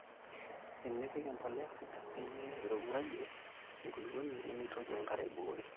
enepiki empolea sidai peyie eirowuajie enkulukuoni nemeitoki enkare aibukuri